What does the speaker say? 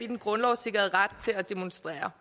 den grundlovssikrede ret til at demonstrere